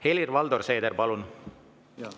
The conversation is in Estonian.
Helir-Valdor Seeder, palun!